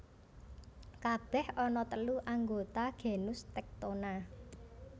Kabèh ana telu anggota genus Tectona